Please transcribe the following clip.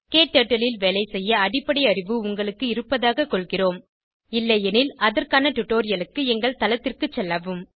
க்டர்ட்டில் ல் வேலைசெய்ய அடிப்படை அறிவு உங்களுக்கு இருப்பதாகக் கொள்கிறோம் இல்லையெனில் அதற்கான டுடோரியலுக்கு எங்கள் தளத்திற்கு செல்லவும்